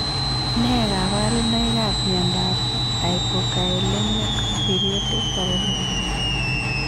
Nee kaparunoik ap miondap hypokaelemic periodic paralysis?